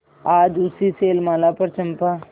आज उसी शैलमाला पर चंपा